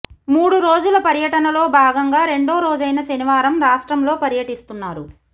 మూడు రోజుల పర్యటనలో భాగంగా రెండో రోజైన శనివారం రాష్ట్రంలో పర్యటిస్తున్నారు